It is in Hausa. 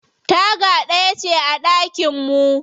Taga ɗaya ce a ɗakin mu.